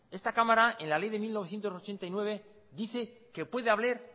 esta cámara en la ley de mil novecientos ochenta y nueve dice que puede haber